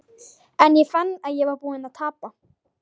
En ég fann að ég var búinn að tapa.